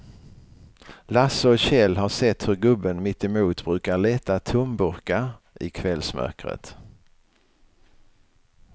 Lasse och Kjell har sett hur gubben mittemot brukar leta tomburkar i kvällsmörkret.